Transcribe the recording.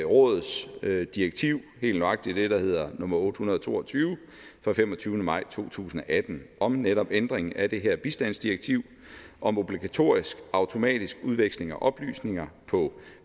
rådets direktiv helt nøjagtigt det der hedder nummer otte hundrede og to og tyve fra femogtyvende maj to tusind og atten om netop ændringen af det her bistandsdirektiv om obligatorisk automatisk udveksling af oplysninger på